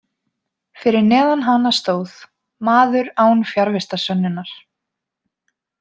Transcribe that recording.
Fyrir neðan hana stóð: Maður án fjarvistarsönnunar.